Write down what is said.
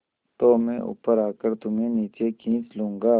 तो मैं ऊपर आकर तुम्हें नीचे खींच लूँगा